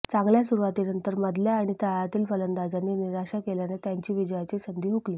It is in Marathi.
चांगल्या सुरुवातीनंतर मधल्या आणि तळातील फलंदाजांनी निराशा केल्याने त्यांची विजयाची संधी हुकली